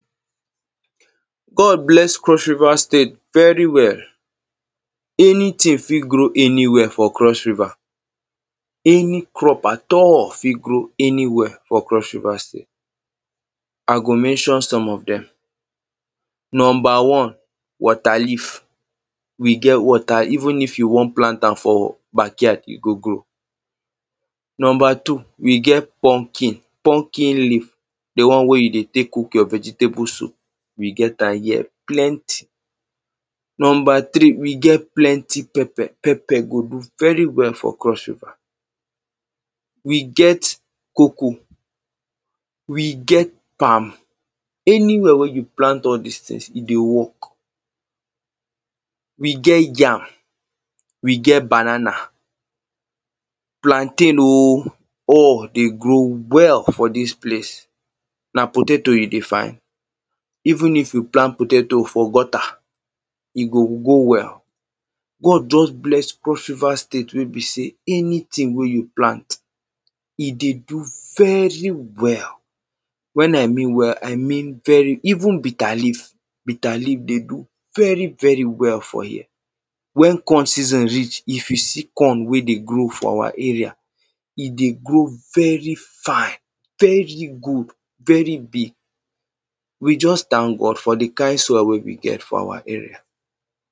God bless Cross-River State very well. Anything fit grow anywhere for Cross-River. Any crop at all fit grow anywhere for Cross-River State. I go mention some of them. Number one: waterleaf, we get water even if you wan plant am for backyard, e go grow. Number two: we get pumpkin, pumpkin leaf. The one wey you dey tek cook your vegetable soup, we get am here, plenty. Number three: we get plenty pepper. Pepper go grow very well for Cross-River. We get cocoa. We get palm. Anywhere wey you plant all dis things, e dey work. We get yam. We get banana. Plantain o. All dey grow well for dis place. Na potato you dey find? Even if you plant potato for gutter, e go grow well. God just bless Cross-River State wey be say anything wey you plant, e dey grow very well. When I say well, I mean, very even bitter leaf Bitter leaf dey grow very, very well for here. When corn season reach, if you see corn wey dey grow for our area. E dey grow very fine, very good, very big. We just thank God for the kind soil wey we get for our area.